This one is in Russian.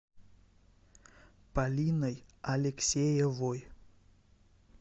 полиной алексеевой